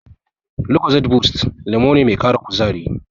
Lucozade boost lemo ne mai ƙara kuzari.